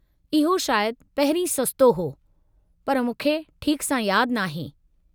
इहो शायदि पहिरीं सस्तो हो, पर मूंखे ठीकु सां यादि नाहे।